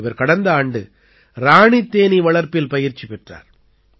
இவர் கடந்த ஆண்டு இராணித் தேனீ வளர்ப்பில் பயிற்சி பெற்றார்